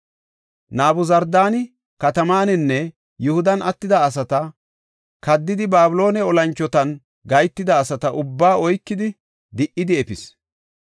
Nabuzardaani katamaninne Yihudan attida asata, kaddidi Babiloone olanchotan gahetida asata ubbaa oykidi, di77idi efis.